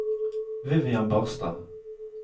Vivian Barstad